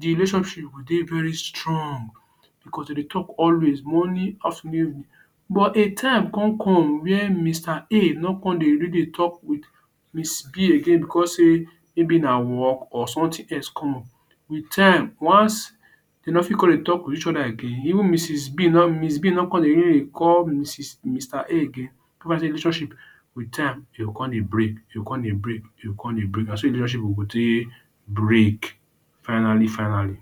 relationship go dey very strong because dey dey talk always morning, afternoon but a time con come where Mr. A no come dey really dey talk with Miss. B again because sey maybe na work or something else come up. Wit time once dey no fit dey talk to each other again even Mrs. B no miss. B no come dey call Mrs Mr. A again tell am say relationship wit time dey go come dey break dey go come dey break. Na so de relationship go take break finally finally.